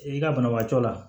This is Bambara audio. I ka banabaatɔ la